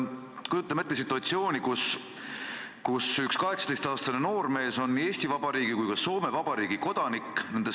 Kujutame ette situatsiooni, kus üks 18-aastane noormees on nii Eesti Vabariigi kui ka Soome Vabariigi kodanik.